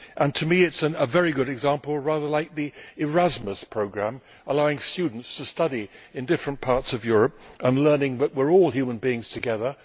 To me it is a very good example rather like the Erasmus programme, allowing students to study in different parts of Europe and learning that we are all human beings together